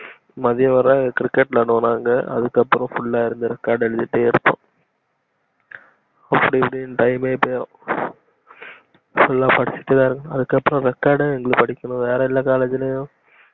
மதியம் வர cricket விளையாடுவோம் நாங்க அதுக்கு அப்புறம் full ஆ இருந்து record எழுதிட்டே இருப்போம் அப்டி இப்டின்னு time ஏ போய்டும் full ஆ படிச்சிட்டேதா இருக்கணும் அதுக்கு அப்புறம் record எங்களுக்கு படிக்கணும் வர எல்ல காலேஜ்லயும்